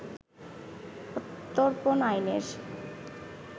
প্রত্যর্পণ আইনের